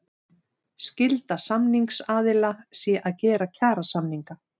Skylda samningsaðila sé að gera kjarasamninga